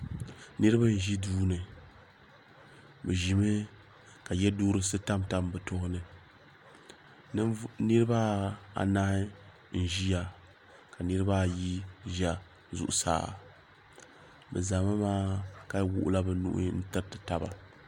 Niriba n ʒi duuni bɛ ʒimi ka yeduhurisi tam tam bɛ tooni niriba anahi n ʒia ka niriba ayi ʒɛ zuɣusaa bɛ zami maa ka wuɣila bɛ nuhi n tiriti taba.